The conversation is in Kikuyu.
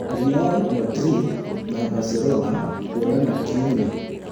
Real Madrid na barcelona kuonana kiumia